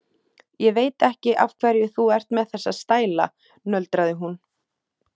Ég veit ekki af hverju þú ert með þessa stæla, nöldraði hún.